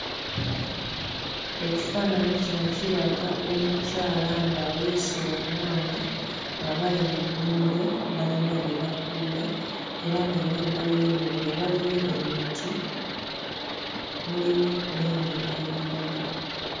Ekifaananyi kino kiraga omukyala ng'aweese omwana, nga bali mu nnimiro balina bye bakuula, era ng'emabbali w'ennimiro waliyo emiti, mulimu n'ebintu ebirala.